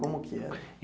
Como que era?